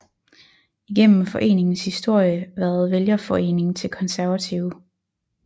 Igennem foreningens historie været vælgerforening til Konservative